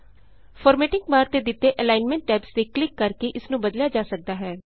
formatting bar ਤੇ ਦਿਤੇ alignment tabs ਤੇ ਕਲਿਕ ਕਰ ਕੇ ਇਸ ਨੂੰ ਬਦਲਿਆ ਜਾ ਸਕਦਾ ਹੈ